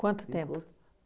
Quanto tempo?